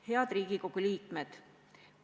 Head Riigikogu liikmed!